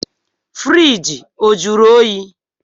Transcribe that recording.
Fiirigi ọ jụrụ oyi?